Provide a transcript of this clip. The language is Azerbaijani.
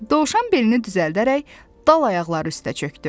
Dovşan belini düzəldərək dal ayaqları üstə çökdü.